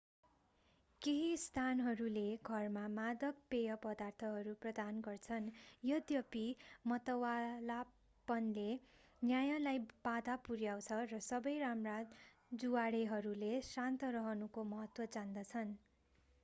केही स्थानहरूले घरमा मादक पेय पदार्थहरू प्रदान गर्छन्। यद्यपि मतवालापनले न्यायलाई बाधा पुर्‍याउँछ र सबै राम्रा जुवाडेहरूले शान्त रहनुको महत्त्व जान्दछन्।